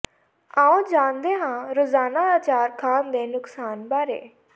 ਆਓ ਜਾਣਦੇ ਹਾਂ ਰੋਜ਼ਾਨਾ ਆਚਾਰ ਖਾਣ ਦੇ ਨੁਕਸਾਨ ਬਾਰੇ